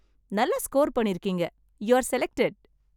நல்லா ஸ்கொர் பண்ணியிருக்கீங்க. You are selected!